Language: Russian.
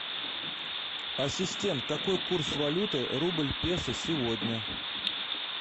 ассистент какой курс валюты рубль песо сегодня